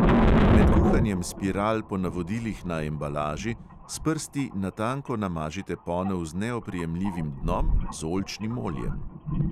Med kuhanjem spiral po navodilih na embalaži s prsti na tanko namažite ponev z neoprijemljivim dnom z oljčnim oljem.